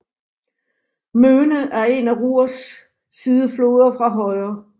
Möhne er en af Ruhrs sidefloder fra højre